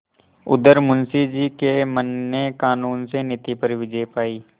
उधर मुंशी जी के मन ने कानून से नीति पर विजय पायी